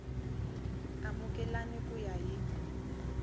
y amukeleka ku ya hi